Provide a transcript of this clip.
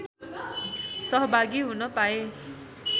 सहभागी हुन पाए